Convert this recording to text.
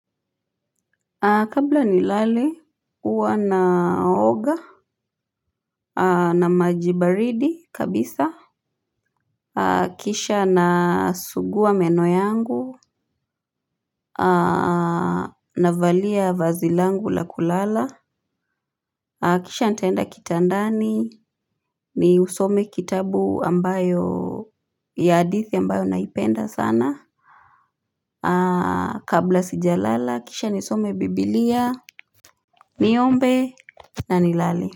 Kabla nilale huwa naoga na maji baridi kabisa kisha nasugua meno yangu navalia vazi langu la kulala kisha nitaenda kitandani niusome kitabu ambayo ya hadithi ambayo naipenda sana kabla sijalala kisha nisome biblia niombe na nilale. Kwa hivyo.